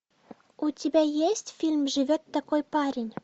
у тебя есть фильм живет такой парень